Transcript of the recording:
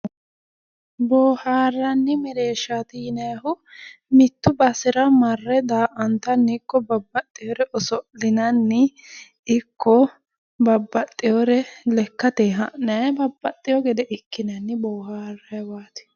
Boohaarranni mereershaati yinayihu mittu basera marre daa"antanni ikko babbaxxiwore oso'linanni ikko babbaxxiwore lekkateyi ha'nayi babbaxxiwo gede ikkinanni boohaarrayiwaati.